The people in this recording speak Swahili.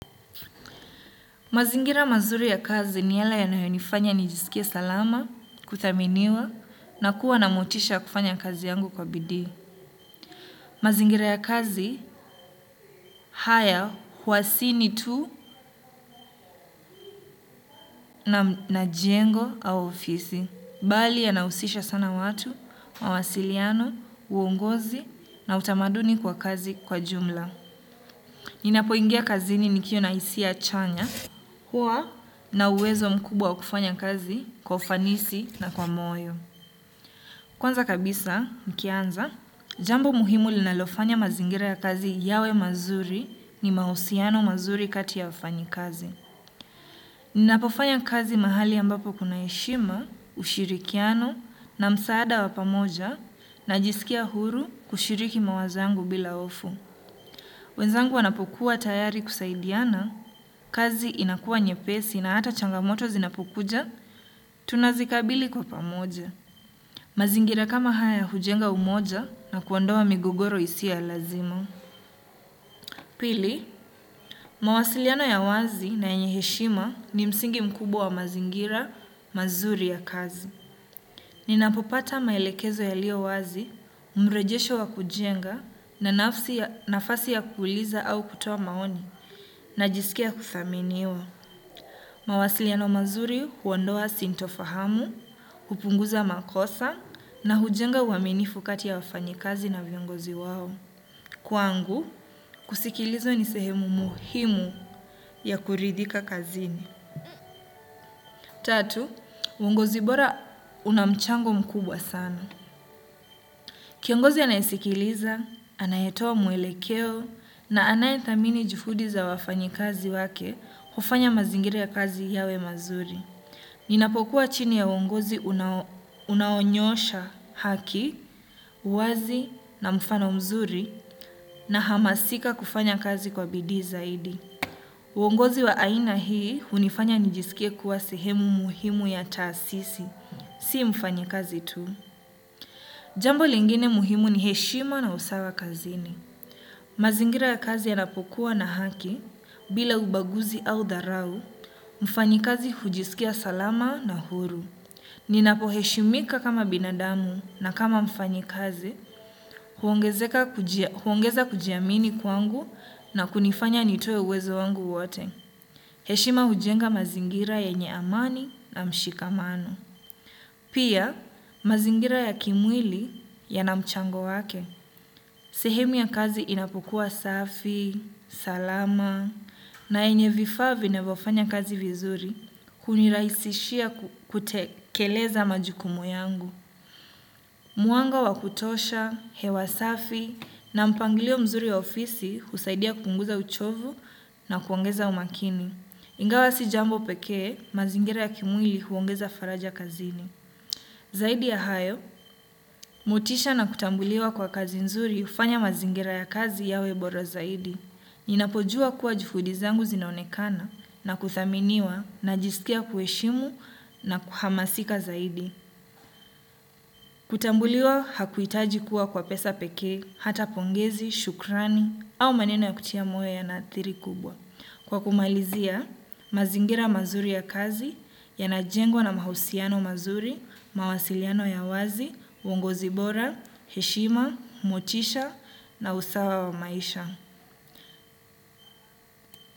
Mazingira mazuri ya kazi ni yale ya nayonifanya ni jisikie salama, kuthaminiwa, na kuwa na motisha ya kufanya kazi yangu kwa bidii. Mazingira ya kazi, haya, huasini tu na jengo au ofisi. Bali ya nausisha sana watu, mawasiliano, uongozi, na utamaduni kwa kazi kwa jumla. Nina poingia kazi ni nikiwa na isi achanya, huwa na uwezo mkubwa kufanya kazi kwa ufanisi na kwa moyo. Kwanza kabisa, nikianza, jambo muhimu linalofanya mazingira ya kazi yawe mazuri ni mausiano mazuri kati ya wafanyi kazi. Ninapofanya kazi mahali ambapo kuna heshima, ushirikiano na msaada wapamoja na jisikia huru kushiriki mawazo yangu bila hofu. Wenzangu wanapokuwa tayari kusaidiana, kazi inakua nye pesi na hata changamoto zinapokuja, tunazikabili kwa pamoja. Mazingira kama haya hujenga umoja na kuondowa migogoro isio ya lazima. Pili, mawasiliano ya wazi na yenyeheshima ni msingi mkubwa wa mazingira mazuri ya kazi. Ninapopata maelekezo ya lio wazi, umrejesho wa kujenga na nafasi ya kuuliza au kutoa maoni na jisikia kuthaminiwa. Mawasiliano mazuri huondoa sintofahamu, hupunguza makosa na hujenga uaminifukati ya wafanyikazi na viongozi wawo. Kwangu, kusikilizwa nisehemu muhimu ya kuridhika kazini. Tatu, wongozi bora unamchango mkubwa sana. Kiongozi anayesikiliza, anayetowa muelekeo na anayethamini juhudi za wafanyikazi wake ufanya mazingira ya kazi yawe mazuri. Ni napokuwa chini ya wongozi unaonyosha haki, wazi na mfano mzuri na hamasika kufanya kazi kwa bidi zaidi. Wongozi wa aina hii unifanya nijisikia kuwa sehemu muhimu ya taasisi, si mfanyi kazi tu. Jambo lingine muhimu ni heshima na usawa kazini. Mazingira ya kazi ya napokuwa na haki, bila ubaguzi au dharau, mfanyi kazi hujisikia salama na huru. Ninapo heshimika kama binadamu na kama mfanyi kazi, huongeza kujiamini kwangu na kunifanya nitoye uwezo wangu wote. Heshima hujenga mazingira yenye amani na mshikamano. Pia, mazingira ya kimwili ya namchango wake. Sehemu ya kazi inapokuwa safi, salama, na enye vifaa vi navyofanya kazi vizuri. Kuniraisishia kutekeleza majukumu yangu. Muanga wa kutosha, hewasafi, na mpangilio mzuri ya ofisi kusaidia kupunguza uchovu na kuongeza umakini. Ingawa si jambo pekee, mazingira ya kimwili huongeza faraja kazini. Zaidi ya hayo, motisha na kutambuliwa kwa kazi nzuri ufanya mazingira ya kazi yawe bora zaidi. Ninapojua kuwa jufudizangu zinaonekana na kuthaminiwa na jisikia kueshimu na kuhamasika zaidi. Kutambuliwa hakuitaji kuwa kwa pesa peke, hata pongezi, shukrani, au maneno ya kutia moyo ya na thiri kubwa. Kwa kumalizia, mazingira mazuri ya kazi, ya najengwa na mahusiano mazuri, mawasiliano ya wazi, wongo zibora, heshima, mochisha, na usawa wa maisha.